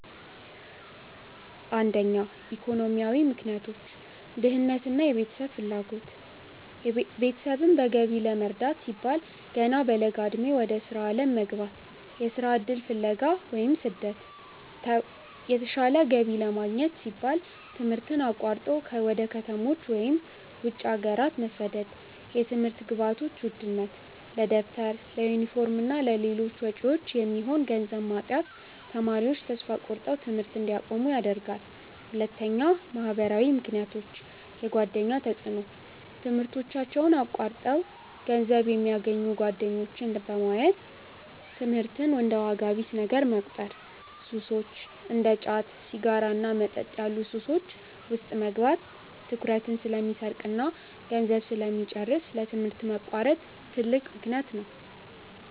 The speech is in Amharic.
1. ኢኮኖሚያዊ ምክንያቶች .ድህነትና የቤተሰብ ፍላጎት፦ ቤተሰብን በገቢ ለመርዳት ሲባል ገና በለጋ ዕድሜ ወደ ሥራ ዓለም መግባት። .የሥራ ዕድል ፍለጋ (ስደት)፦ የተሻለ ገቢ ለማግኘት ሲባል ትምህርትን አቋርጦ ወደ ከተሞች ወይም ወደ ውጭ ሀገራት መሰደድ። .የትምህርት ግብዓቶች ውድነት፦ ለደብተር፣ ለዩኒፎርምና ለሌሎች ወጪዎች የሚሆን ገንዘብ ማጣት ተማሪዎች ተስፋ ቆርጠው ትምህርት እንዲያቆሙ ያደርጋል። 2. ማኅበራዊ ምክንያቶች .የጓደኛ ተጽዕኖ፦ ትምህርታቸውን አቋርጠው ገንዘብ የሚያገኙ ጓደኞችን በማየት ትምህርትን እንደ ዋጋ ቢስ ነገር መቁጠር። .ሱሶች፦ እንደ ጫት፣ ሲጋራና መጠጥ ያሉ ሱሶች ውስጥ መግባት ትኩረትን ስለሚሰርቅና ገንዘብ ስለሚጨርስ ለትምህርት መቋረጥ ትልቅ ምክንያት ነው።